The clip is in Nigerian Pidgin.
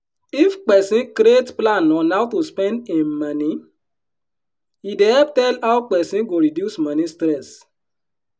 if peson create plan on how to spend im moni e dey help tell how peson go reduce moni stress.